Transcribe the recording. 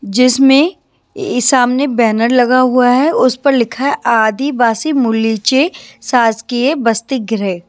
जिसमें ये सामने बैनर लगा हुआ है उस पर लिखा है आदिवासी मुलीचे शासकीय बस्ति ग्रह ।